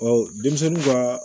denmisɛnninw ka